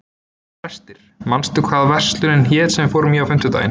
Brestir, manstu hvað verslunin hét sem við fórum í á fimmtudaginn?